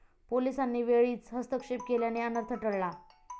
पोलिसांनी वेळीच हस्तक्षेप केल्याने अनर्थ टळला.